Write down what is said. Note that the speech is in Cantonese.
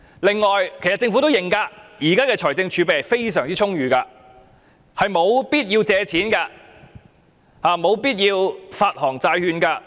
此外，政府也承認現時的財政儲備非常充裕，是沒有必要借錢、沒有必要發行債券的。